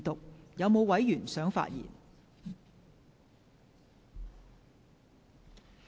是否有委員想發言？